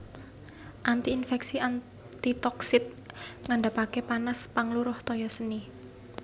Anti infèksi antitoxic ngandhapaken panas pangluruh toya seni